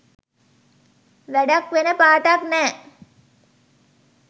වැඩක් වෙන පාටක් නෑ.